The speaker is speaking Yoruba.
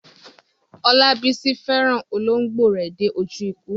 Olabisi fẹ́ràn olóńgbò rẹ̀ dé ojú ikú.